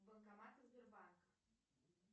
банкоматы сбербанка